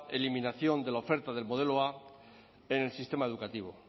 eliminación de la oferta del modelo a en el sistema educativo